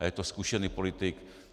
A je to zkušený politik.